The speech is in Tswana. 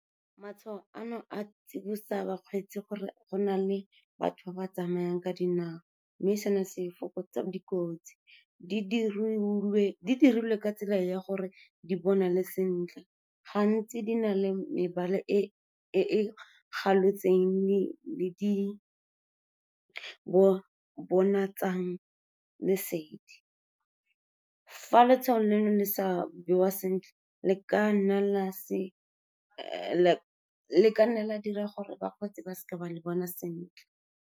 Matshwao ano a tsibosa bakgweetsi gore go na le batho ba ba tsamayang ka dinao mme sena se fokotsa dikotsi. Di dirilwe ka tsela ya gore di bonale sentle, gantsi di na le mebala e e galotseng le di bonatsang lesedi. Fa letshwao le ne sa bewa sentle, le ka nna la dira gore bakgweetsi ba seka ba le bona sentle.